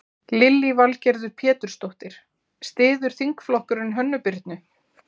Lillý Valgerður Pétursdóttir: Styður þingflokkurinn Hönnu Birnu?